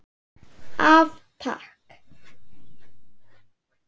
Af Takk.